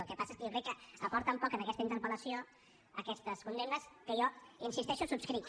el que passa és que jo crec que aporten poc a aquesta interpel·lació aquestes condemnes que jo hi insisteixo subscric